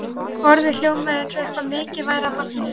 Orðið hljómaði eins og eitthvað mikið væri að barninu.